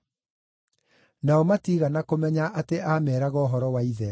Nao matiigana kũmenya atĩ aameeraga ũhoro wa Ithe.